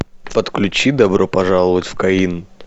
подключи добро пожаловать в каин